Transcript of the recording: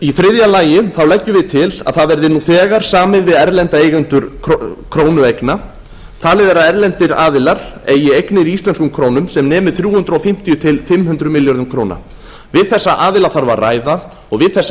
í þriðja lagi leggjum við til að það verði nú þegar samið við erlenda eigendur krónueigna talið er að erlendir aðilar eigi eignir í íslenskum krónum sem nemi þrjú hundruð fimmtíu til fimm hundruð milljörðum króna við þess aðila þarf að ræða og við þessa